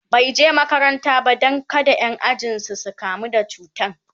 bai je makaranta ba Dan kada Ƴan ajinsu su kamu da cutan